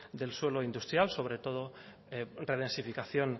del suelo industrial sobre todo redensificación